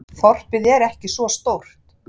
Þorpið er ekki svo stórt.